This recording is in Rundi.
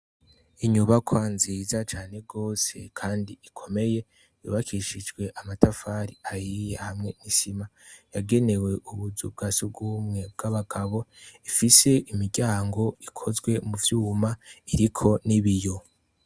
Inyubakwa nziza cane gose kandi ikomeye yubakishijwe amatafari ahiye hamwe n' isima, yagenewe ubuzu bwasugumwe hari umuryango wagenewe abagabo hari n' uwundi wagenewe abagore, ifise imiryango ikozwe mu vyuma iriko n' ibiyo.